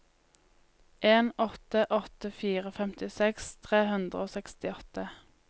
en åtte åtte fire femtiseks tre hundre og sekstiåtte